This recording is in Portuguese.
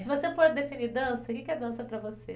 Se você puder definir dança, o que que é dança para você?